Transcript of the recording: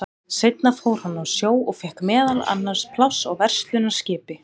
Seinna fór hann á sjó og fékk meðal annars pláss á verslunarskipi.